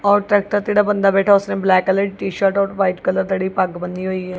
ਤੇ ਟਰੈਕਟਰ ਤੇ ਜਿਹੜਾ ਬੰਦਾ ਬੈਠਾ ਉਸਨੇ ਬਲੈਕ ਕਲਰ ਦੀ ਟੀ ਸ਼ਰਟ ਔਰ ਵਾਈਟ ਕਲਰ ਦਾ ਜਿਹੜੀ ਪੱਗ ਬੰਨੀ ਹੋਈ ਹੈ।